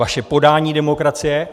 Vaše podání demokracie.